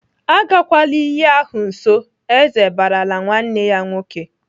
"Agakwala iyi ahụ nso!" Eze barala nwanne ya nwoke.